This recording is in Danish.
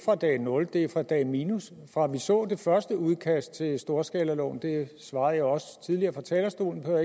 fra dag nul det er fra dag minus fra vi så det første udkast til storskalaloven det svarede jeg også tidligere fra talerstolen så